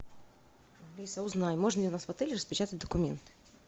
алиса узнай можно ли у нас в отеле распечатать документы